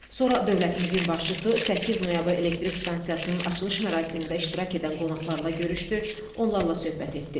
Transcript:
Sonra dövlətimizin başçısı 8 Noyabr Elektrik Stansiyasının açılış mərasimində iştirak edən qonaqlarla görüşdü, onlarla söhbət etdi.